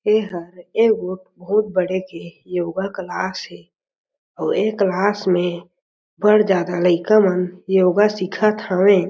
एहर एगो बहुत बड़े के योगा क्लास हे अउ ए क्लास में अ बढ़ जादा लइका मन योगा सिखत हवे ।